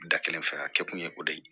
Da kelen fɛ a kɛ kun ye o de ye